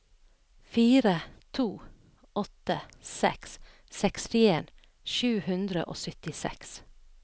fire to åtte seks sekstien sju hundre og syttiseks